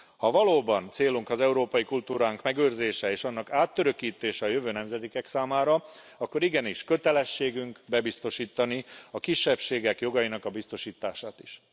Ha valóban célunk európai kultúránk megőrzése és annak átörökítése a jövő nemzedékek számára, akkor igenis kötelességünk bebiztosítani a kisebbségek jogainak biztosítását is!